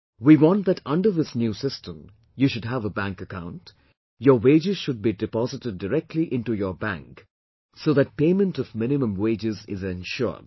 We want that under this new system you should have a bank account; your wages should be deposited directly into your bank so that payment of minimum wages is ensured